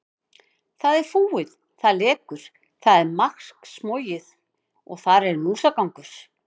Það er fúið, það lekur, það er maðksmogið og þar er músagangur.